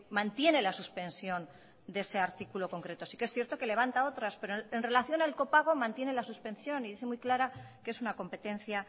mantiene la suspensión de ese artículo concreto sí que es cierto que levanta otras pero en relación al copago mantiene la suspensión y dice muy clara que es una competencia